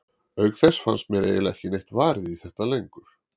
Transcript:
Auk þess fannst mér eiginlega ekki neitt varið í þetta lengur.